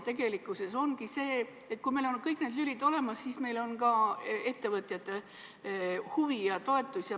Tegelikkuses ongi nii, et kui meil on kõik need lülid olemas, siis meil on ka ettevõtjate huvi ja toetus.